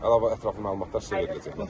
Əlavə ətraflı məlumatlar sizə veriləcək.